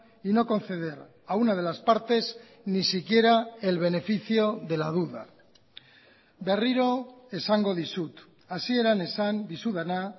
y no conceder a una de las partes ni siquiera el beneficio de la duda berriro esango dizut hasieran esan dizudana